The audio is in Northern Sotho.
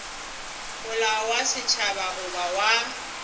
molao wa setšhaba goba wa